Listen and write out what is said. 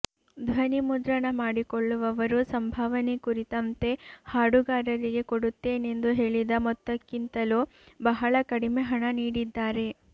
ಧ್ವನಿ ಮುದ್ರಣ ಮಾಡಿಕೊಳ್ಳುವವರು ಸಂಭಾವನೆ ಕುರಿತಂತೆ ಹಾಡುಗಾರರಿಗೆ ಕೊಡುತ್ತೇನೆಂದು ಹೇಳಿದ ಮೊತ್ತಕ್ಕಿಂತಲೂ ಬಹಳ ಕಡಿಮೆ ಹಣ ನೀಡಿದ್ದಾರೆ